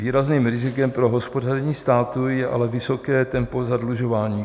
Výrazným rizikem pro hospodaření státu je ale vysoké tempo zadlužování.